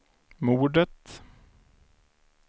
mordet